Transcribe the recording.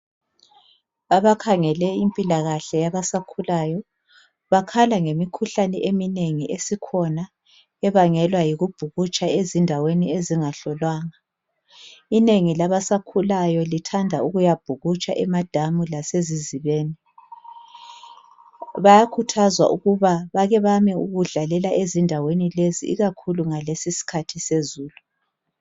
Abakhangele impilakahle yabasakhulayo bakhala ngemikhuhlane eminengi esikhona ebangelwa yikubhukutsha ezindaweni ezingahlolwanga. Inengi labasakhulayo lithanda ukuyabhukutsha emadamu lasezizibeni, bayakhuthazwa ukuba bakebame ukudlalela ezindaweni lezi ikakhulu ngesikhathi sezulu.